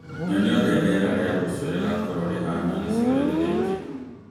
Nyonia ũrĩa rĩera rĩa rũciũ rĩgaakorũo rĩhaana gĩcigo-inĩ gĩkĩ.